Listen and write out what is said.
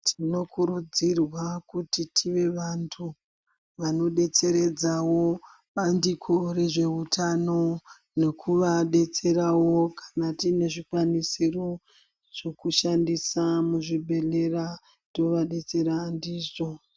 Tinokurudzirwa kuti tive vantu vanobetseredzawo bandiko rezveutano nekuvabetserawo kanatinezvi kwanisiro zvekushandisa muzvibhedhlera tovabetsera ndizvo.